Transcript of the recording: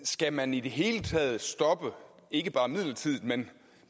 skal man i det hele taget stoppe ikke bare midlertidigt men